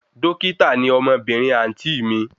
Dókítà ni ọmọbìnrin àǹtí ì mi